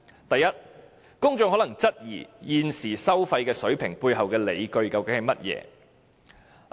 第一，公眾可能質疑現時收費水平背後的理據為何。